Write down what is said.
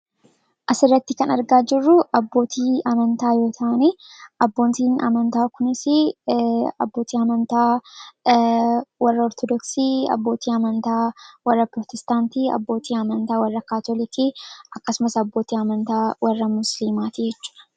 as irratti kan argaa jirru abbootii amantaa yoo taanii abboontiin amantaa kunisi abbootii amantaa warra hortodooksii abbootii amantaa warra prootestaantii abbootii amantaa warra kaatolikii jechuudha.